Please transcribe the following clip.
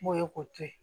N'o ye k'o to ye